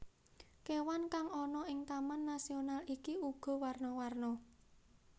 Kewan kang ana ing taman nasional iki uga warna warna